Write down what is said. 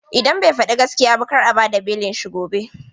Idan bai faɗi gaskiya ba kar a bad a belin shi gobe.